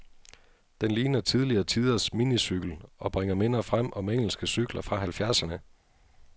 Den ligner tidligere tiders minicykel, og bringer minder frem om engelske cykler fra halvfjerdserne.